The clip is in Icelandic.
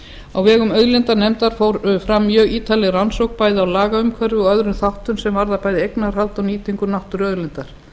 á vegum auðlindanefndar fór fram mjög ítarleg rannsókn bæði á lagaumhverfi og öðrum þáttum sem varða eignarhald og nýtingu náttúruauðlinda